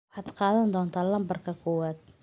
Waxaad qaadan doontaa lambarka koowaad.